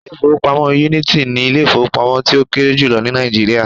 Ilé ìfowópamọ́ Unity ni Ilé ìfowópamọ́ tí ó kéré jùlọ ní Nàìjíríà